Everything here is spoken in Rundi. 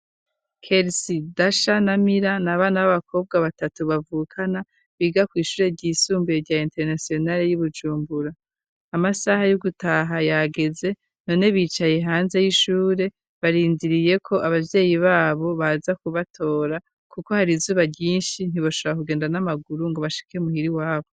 kelsy dasha na mira n' abana b'abakobwa batatu bavukana biga ku ishure ry'isumbuye rya interinasionari ryi Bujumbura, amasaha y'ugutaha yageze none bicaye hanze y'ishure barindiriye ko ababyeyi babo baza kubatora kuko hari izuba ryinshi ntiboshora kugenda n'amaguru ngo bashike umuhiri wabo.